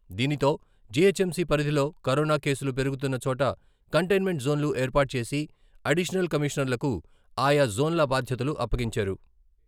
దీనితో జీహెచ్ఎంసీ పరిధిలోకరోనా కేసులు పెరుగుతున్న చోట కంటైన్మెంట్ జోన్లు ఏర్పాటు చేసి అడిషనల్ కమిషనర్లకు ఆ యా జోన్ల బాధ్యతలు అప్పగించారు.